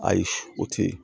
Ayi o te ye